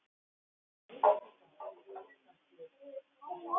Eyddi tíma og peningum fyrir mig.